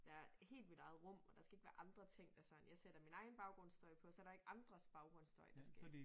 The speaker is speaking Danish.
Være helt mit eget rum og der skal ikke være andre ting der sådan jeg sætter min egen baggrundsstøj på så der ikke andres baggrundsstøj der skal